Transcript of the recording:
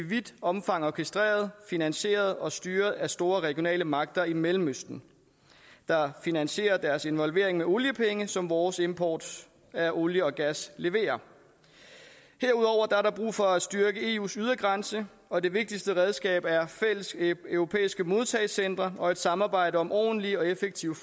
vidt omfang orkestreret finansieret og styret af store regionale magter i mellemøsten der finansierer deres involvering med oliepenge som vores import af olie og gas leverer herudover er der brug for at styrke eus ydre grænser og det vigtigste redskab er fælles europæiske modtagecentre og samarbejde om ordentlige og effektive